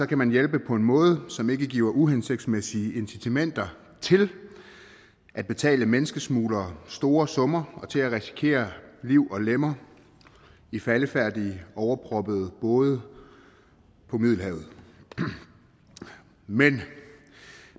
kan man hjælpe på en måde som ikke giver uhensigtsmæssige incitamenter til at betale menneskesmuglere store summer og til at risikere liv og lemmer i faldefærdige overproppede både på middelhavet men